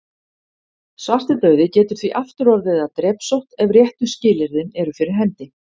Svartidauði getur því aftur orðið að drepsótt ef réttu skilyrðin eru fyrir hendi.